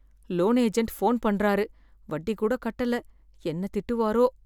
Loan agent phone பன்றாரு, வட்டி கூட கட்டல, என்ன திட்டுவாரோ?